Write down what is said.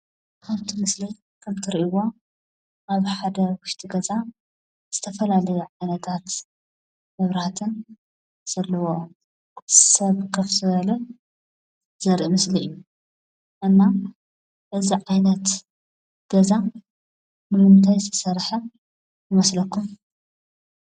ኣብ እቲ ምስሊ ከም እትርእይዎ ዘለኩም ኣብ ውሽጢ ሓደ ገዛ ዝተፈላለየ ዓይነታት መብራህትን ኮፍ ዝበለ ሰብ ዘለዎን ዘርኢ ምስሊ እዩ። ስለ እዚ ናይ እዚ ዓይነት ገዛ ብምንታይ ዝተሰረሐ ይመስለኩም?